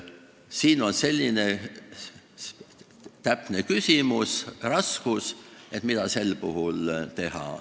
See on selline raske küsimus, et mida sel puhul teha.